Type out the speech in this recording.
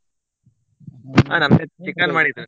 ನಮ್ಗೆ chicken ಮಾಡಿದ್ರು.